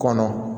Kɔnɔ